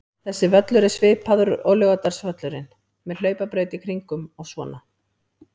Þessi völlur er svipaður og Laugardalsvöllurinn, með hlaupabraut í kringum og svona.